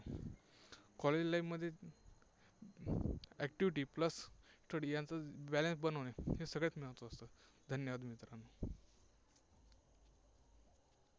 college life मध्ये activity plus study यांचा जर balance होणे, हे सगळ्यात महत्त्वाचं. धन्यवाद मित्रांनो.